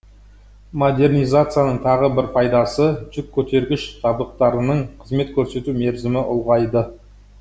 модернизацияның тағы бір пайдасы жүк көтергіш жабдықтарының қызмет көрсету мерзімі ұлғайды